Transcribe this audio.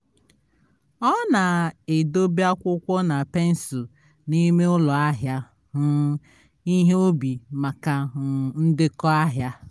ọ na-edobe akwụkwọ na pensụl n'ime ụlọ ahịa um ihe ubi maka um ndekọ ahịa